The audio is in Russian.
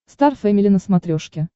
стар фэмили на смотрешке